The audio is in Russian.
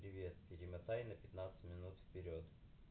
привет перемотай на пятнадцать минут вперёд